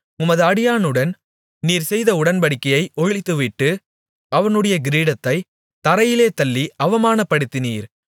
உமது அடியானுடன் நீர் செய்த உடன்படிக்கையை ஒழித்துவிட்டு அவனுடைய கிரீடத்தைத் தரையிலே தள்ளி அவமானப்படுத்தினீர்